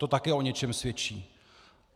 To také o něčem svědčí.